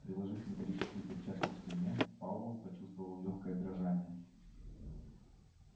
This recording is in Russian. приложив металлическую перчатку к стене пауэлл почувствовал лёгкое дрожание